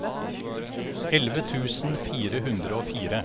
elleve tusen fire hundre og fire